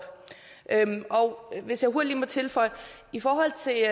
og hvis jeg hurtigt lige må tilføje i forhold til